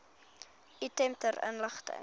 item ter inligting